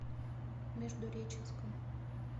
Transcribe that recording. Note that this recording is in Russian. междуреченском